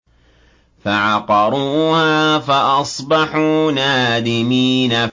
فَعَقَرُوهَا فَأَصْبَحُوا نَادِمِينَ